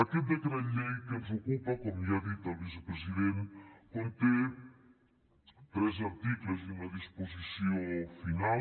aquest decret llei que ens ocupa com ja ha dit el vicepresident conté tres articles i una disposició final